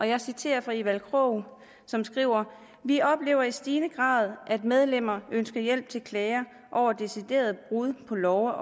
jeg citerer evald krog som skriver vi oplever i stigende grad at medlemmer ønsker hjælp til klager over deciderede brud på love